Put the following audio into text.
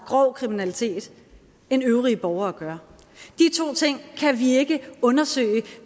grov kriminalitet end øvrige borgere gør de to ting kan vi ikke undersøge